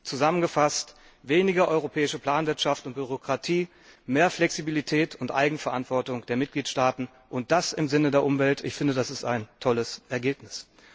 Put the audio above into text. Zusammengefasst Weniger europäische Planwirtschaft und Bürokratie, mehr Flexibilität und Eigenverantwortung der Mitgliedstaaten, und das im Sinne der Umwelt das ist ein tolles Ergebnis!